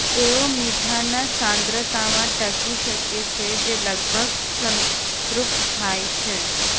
તેઓ મીઠાના સાંદ્રતામાં ટકી શકે છે જે લગભગ સંતૃપ્ત થાય છે